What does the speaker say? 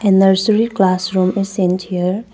And nursery classroom is sent here.